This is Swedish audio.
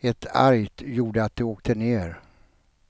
ett argt gjorde att de åkte ner.